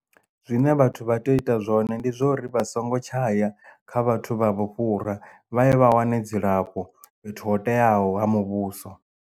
Zwine vhathu vha tea u ita zwone ndi zwo uri vha songo tshaya kha vhathu vha vhu fhura vha ye vha wane dzilafho fhethu ho teaho ha muvhuso.